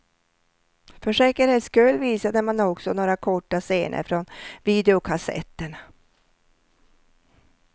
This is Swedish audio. För säkerhets skull visade man också några korta scener från videokassetterna.